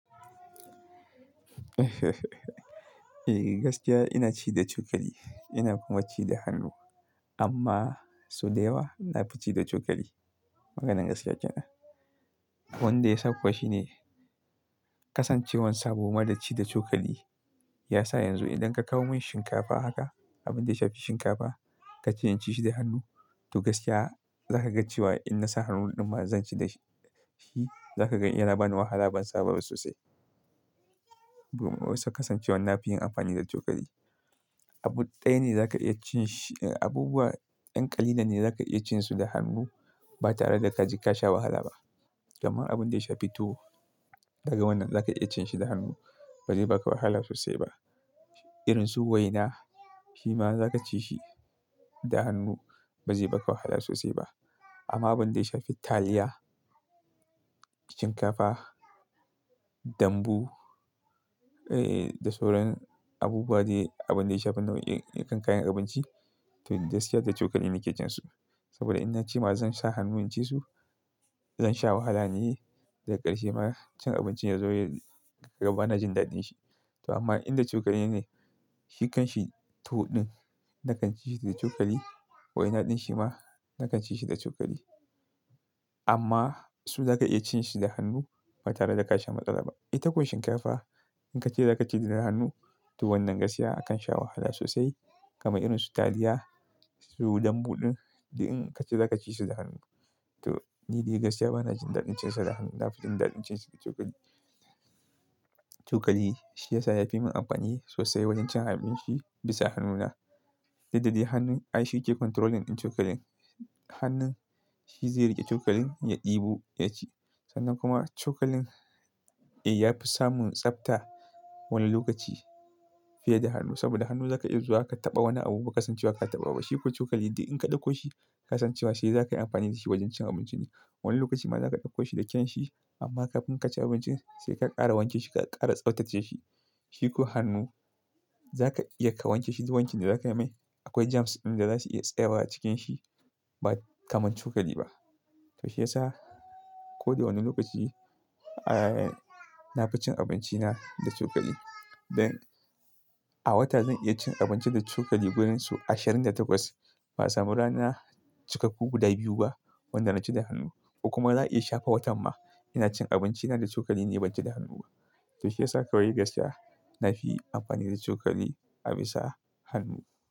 Eh gaskiya ina ci da cokali, ina kuma ci da hannu. Amma sau da yawa nafi ci da cokali. Maganar gaskiya kenan. Wanda ya sakawa shine kasancewar sabo ma da ci da cokali ya sa yanzu idan ka kawo min shinkafa haka, abin da ya shafi shinkafa, ka ce in ci shi da hannu to gaskiya za ka ga cewa in na sa hannun ɗin ma zan ci da shi, za ka ga yana ba ni wahala ban saba ba sosai. Saboda wasu kasancewan nafi yin amfani da cokali. Abu ɗaya ne za ka iya cin shi, abubuwa 'yan ƙalilan ne za ka iya cin su da hannu ba tare da ka sha wahala ba. Kamar abin da ya shafi tuwo, daga wannan za ka iya cin shi da hannu, ba zai baka wahala sosai ba. Irin su waina, shi ma za ka ci shi da hannu ba zai baka wahala sosai ba. Amma abin da ya shafi taliya, shinkafa, dambu, eh da sauran abubuwa dai abin da ya shafi nau'in kayan abinci to da gaskiya da cokali ne ke cin su. Saboda in na ce ma zan sa hannu in ci su, zan sha wahala ne da ƙarshe ma cin abincin ya zo ya raba na jin daɗin shi. To amma inda cokali ne, shi kan shi tuwo ɗin nakan ci shi da cokali, waina ɗin shi ma nakan ci shi da cokali. Amma su za ka iya cin su da hannu ba tare da ka sha matsala ba. Itako shinkafa in ka ce za ka ci da hannu to wannan gaskiya akan sha wahala sosai kamar irin su taliya, su dambu ɗin, in ka ce za ka ci su da hannu. To ni dai gaskiya ba na jin daɗin cin su da hannu, nafison daɗin cin su da cokali. Cokali shi ya sa ya fi mun amfani sosai wajen cin abinci bisa hannuna, dalili hannun ai shi yake controlling in cokalin. Hannun shi zai riƙe cokalin ya ɗibu, ya ci. Sannan kuma cokalin eh yafi samun tsabta wani lokaci fiye da hannu. Saboda hannu za ka iya zuwa ka taɓa wani abu ba ka san cewa ka taɓa ba. Shi ko cokali idan in ka ɗauko shi ka san cewa sai za ka yi amfani da shi wajen cin abinci ne. Wani lokaci ma za ka ɗauko shi da kyan shi amma kafin ka ci abincin sai ka ƙara wanke shi ka ƙara tsaftace shi. Shi ko hannu za ka iya ka wanke shi zuwa wancan da za ka mai akwai germs ɗin da za su iya tsayawa cikin shi ba kaman cokali ba. To shiyasa ko da wane lokaci, eh nafi cin abinci na da cokali. Don a wata zan iya cin abinci da cokali wurin su ashirin da takwas, ba samu rana cikakku guda biyu ba wanda na ci da hannu. Kuma za a iya shafa watan ma ina cin abinci na da cokali ne ban ci da hannu ba. To shiyasa kawai gaskiya nafi amfani da cokali a bisa hannu.